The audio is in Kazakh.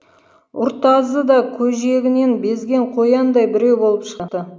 ұртазы да көжегінен безген қояндай біреу болып шықты